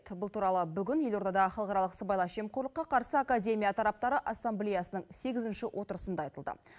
бұл туралы бүгін елордада халықаралық сыбайлас жемқорлыққа қарсы академия тараптары ассамблеясының сегізінші отырысында айтылды